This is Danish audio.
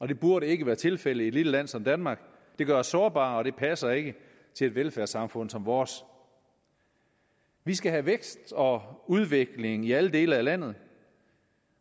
det burde ikke være tilfældet i et lille land som danmark det gør os sårbare og det passer ikke til et velfærdssamfund som vores vi skal have vækst og udvikling i alle dele af landet